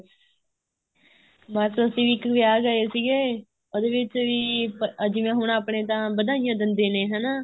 ਬੱਸ ਅਸੀਂ ਵੀ ਇੱਕ ਵਿਆਹ ਗਏ ਸੀਗੇ ਉਹਦੇ ਵਿੱਚ ਵੀ ਜਿਵੇਂ ਹੁਣ ਆਪਣੇ ਤਾਂ ਵਧਾਈਆਂ ਦਿੰਦੇ ਨੇ ਹਨਾ